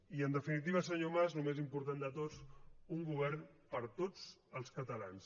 i en definitiva senyor mas el més important de tot un govern per a tots els catalans